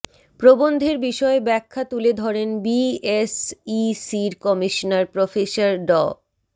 প্রবন্ধের বিষয়ে ব্যাখ্যা তুলে ধরেন বিএসইসির কমিশনার প্রফেসর ড